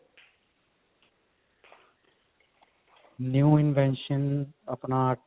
new invention ਆਪਣਾ